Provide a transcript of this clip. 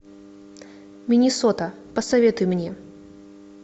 миннесота посоветуй мне